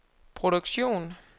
produktion